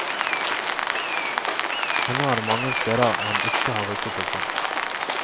Ennå er det mange steder han ikke har rukket å se.